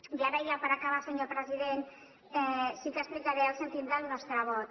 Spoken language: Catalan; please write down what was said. i ara ja per acabar senyor president sí que explicaré el sentit del nostre vot